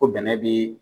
Ko bɛnɛ bi